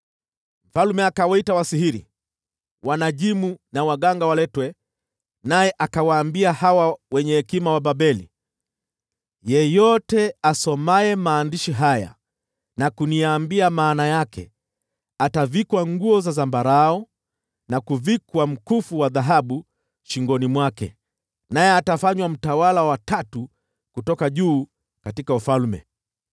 Mfalme akawaita wasihiri, wanajimu na waganga waletwe, naye akawaambia hawa wenye hekima wa Babeli, “Yeyote asomaye maandishi haya na kuniambia maana yake atavikwa nguo za zambarau, na kuvikwa mkufu wa dhahabu shingoni mwake, naye atafanywa mtawala wa cheo cha tatu katika ufalme.”